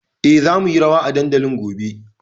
E, za mu yi rawa a dandalin gobe.